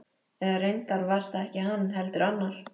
Eða reyndar var það ekki hann, heldur annar.